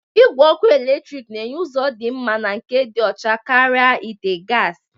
Igwe ọkụ eletrik na-enye ụzọ dị mma na nke dị ọcha karịa ite gasi.